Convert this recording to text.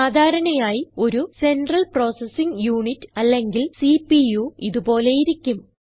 സാധാരണയായി ഒരു central processing unit അല്ലെങ്കിൽ സിപിയു ഇത് പോലെയിരിക്കും